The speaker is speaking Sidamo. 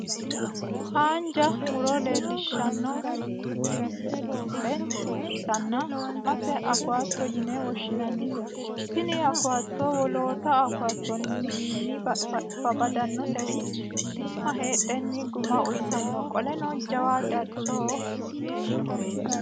Haanja mu'ro leellishshanno mmisile ikkitanna su'mase awukaato yine woshshinannise tini awukaato wolootta awukaato wiinni badannoseri shiima heedheenni guma uuytanno. Qoleno jawu darchihu weeshoho.